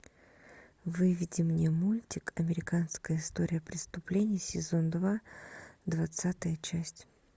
выведи мне мультик американская история преступлений сезон два двадцатая часть